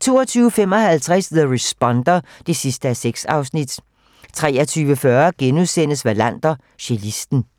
22:55: The Responder (6:6) 23:40: Wallander: Cellisten *